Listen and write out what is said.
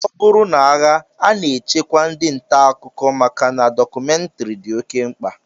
Ọ bụrụ n'agha, a na-echekwa ndị ntaakụkọ maka na dọkụmentrị dị oké mkpa